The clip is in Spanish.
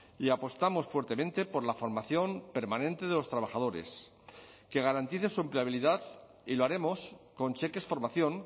y apostamos fuertemente por la formación permanente de los trabajadores que garantice su empleabilidad y lo haremos con cheques formación